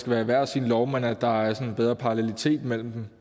være i hver sin lov men at der er en bedre parallelitet mellem dem